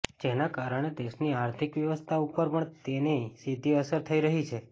જેના કારણે દેશની આર્થિક વ્યવસ્થા ઉપર પણ તેની સીધી અસર થઈ રહી છે